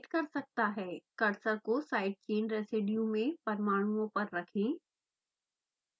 cursor को side chain residue में परमाणुओं पर रखें